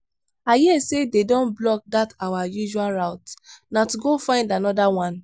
i hear say dey don block dat our usual route na to go find another one.